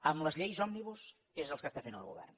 amb les lleis òmnibus és el que està fent el govern